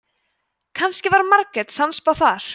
kannski var margrét sannspá þar